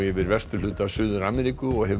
yfir vesturhluta Suður Ameríku og hefur